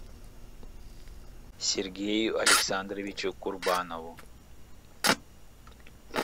сергею александровичу курбанову